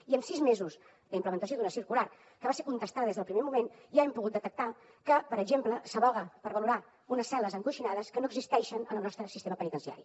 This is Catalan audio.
i en sis mesos de la implementació d’una circular que va ser contestada des del primer moment ja hem pogut detectar que per exemple s’advoca per valorar unes cel·les encoixinades que no existeixen en el nostre sistema penitenciari